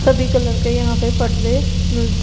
सभी कलर के यहां पर पर्दे मिल --